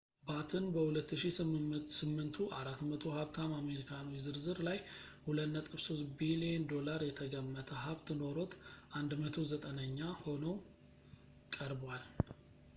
ባትን በ2008ቱ 400 ሀብታም አሜሪካኖች ዝርዝር ላይ $2.3 ቢልየን የተገመተ ሀብት ኖሮት 190ኛ ሆኖ ቀርቧል